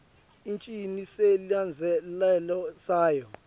icinise silandzelelo sayo